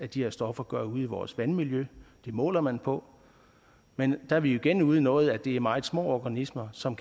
de her stoffer gør ude i vores vandmiljø det måler man på men der er vi igen ude i noget med at det er meget små organismer som